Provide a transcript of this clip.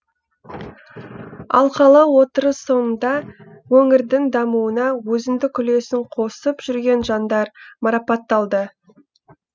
алқалы отырыс соңында өңірдің дамуына өзіндік үлесін қосып жүрген жандар марапатталды